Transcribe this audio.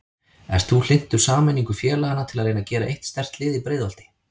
Ert þú hlynntur sameiningu félagana til að reyna að gera eitt sterkt lið í Breiðholti?